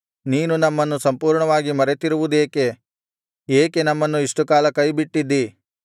ನೀನು ನಮ್ಮನ್ನು ಸಂಪೂರ್ಣವಾಗಿ ಮರೆತಿರುವುದೇಕೆ ಏಕೆ ನಮ್ಮನ್ನು ಇಷ್ಟುಕಾಲ ಕೈಬಿಟ್ಟಿದ್ದೀ